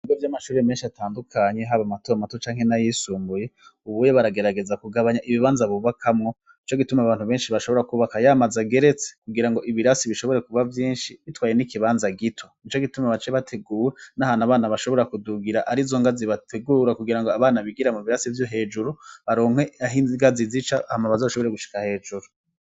Ibigo vy'amashuri menshi atandukanye, haba matoto canke n'ayisumbuye, ubuye baragerageza kugabanya ibibanza bubakamwo, nico gituma abantu benshi bashobora kubaka yamaza geretse kugira ngo ibirasi bishobore kuba vyinshi bitwaye n'ikibanza gito, nico gituma bace bategura n'ahanu abana bashobora kudugira ari zongazi bategura kugira ngo abana bigira mu birasi vyo hejuru baronke ahingazi zica hama bazashobore gushika hejuru.